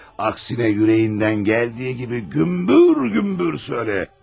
Əksinə ürəyindən gəldiyi kimi gümbür-gümbür söylə.